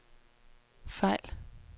fejl